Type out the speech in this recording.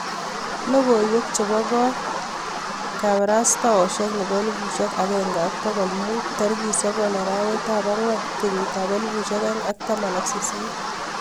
Logoiwek chepoo koot kaparasatosiek nepo elefusiek agenge ak pokol muut tarikit sokol arawet ap angwan kenyiit ap elfusiek oeng ak taman ak sisit